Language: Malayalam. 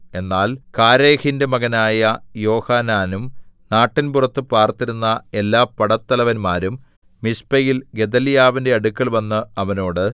എന്നാൽ കാരേഹിന്റെ മകനായ യോഹാനാനും നാട്ടിൻപുറത്തു പാർത്തിരുന്ന എല്ലാ പടത്തലവന്മാരും മിസ്പയിൽ ഗെദല്യാവിന്റെ അടുക്കൽവന്ന് അവനോട്